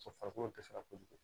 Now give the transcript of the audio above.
farikolo dɛsɛra kojugu